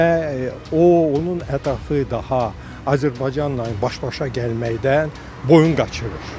Və o, onun ətrafı daha Azərbaycanla baş-başa gəlməkdən boyun qaçırır.